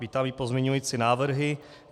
Vítám i pozměňující návrhy.